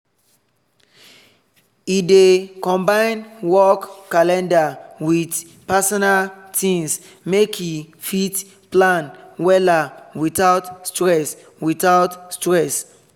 e dey combine work calender with personal things make e fit plan wella without stress without stress